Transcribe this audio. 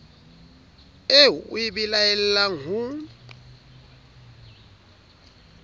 eo o e belaelang ho